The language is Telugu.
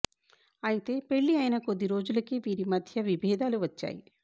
అయితే పెళ్లి అయిన కొద్ది రోజులకే వీరి మధ్య విభేదాలు వచ్చాయి